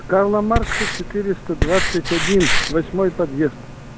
карла маркса четыреста двадцать один восьмой подъезд